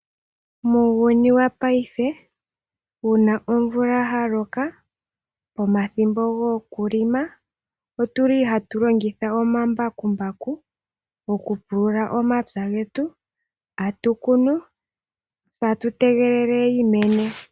Muuyuni wopaife uuna omvula haloka, omathimbo gokulima, otuli hatu longitha omambakumbaku oku pulula omapya getu atukunu se atutegelela yimene.